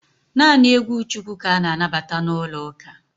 Naanị egwu Chukwu ka a na-anabata n'ụlọ uka